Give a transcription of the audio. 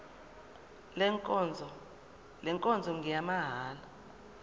le nkonzo ngeyamahala